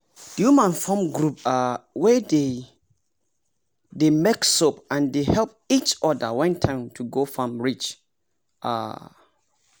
the woman form group um wey dey dey make soap and they dey help each other when time to go farm reach um